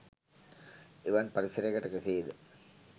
එවන් පරිසරයකට කෙසේද